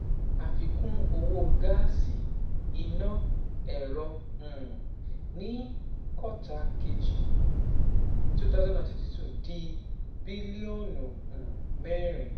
Àfikún owó gáàsì, iná, ẹ̀rọ um ní kọ́tà kejì twenty twenty two dín bílíọ̀nù um mẹ́rin.